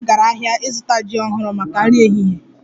Mama m gara ahịa ịzụta jim ọhụrụ maka nri ehihie